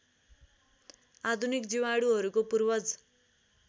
आधुनिक जीवाणुहरूको पूर्वज